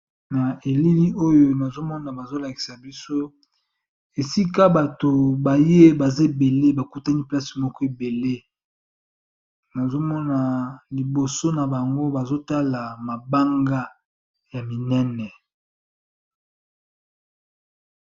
Na elili oyo nazo mona bazo lakisa biso esika bato baye baza ebele ba kutani place moko ebele, nazo mona liboso na bango bazo tala mabanga ya minene.